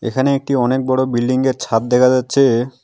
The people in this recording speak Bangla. এখানে একটি অনেক বড়ো বিল্ডিংগের ছাদ দেখা যাচ্ছে।